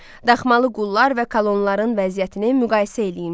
Daxmalı qullar və kolonların vəziyyətini müqayisə eləyin.